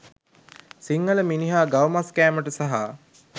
සිංහල මිනිහා ගව මස් කෑමට සහ